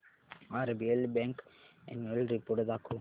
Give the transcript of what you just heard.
RBL bank annual report दाखव